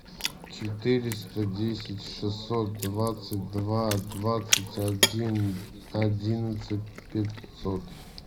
четыреста десять шестьсот двадцать два двадцать один одиннадцать пятьсот